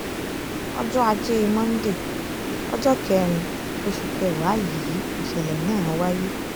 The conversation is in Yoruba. ọjọ́ ajé monday ọjọ́ kẹrin oṣù kẹwàá yìí nìṣẹ̀lẹ̀ náà wáyé